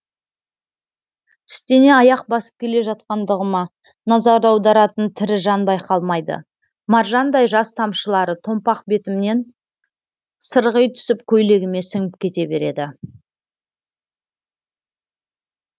тістене аяқ басып келе жатқандығыма назар аударатын тірі жан байқалмайды маржандай жас тамшылары томпақ бетімнен сырғи түсіп көйлегіме сіңіп кете береді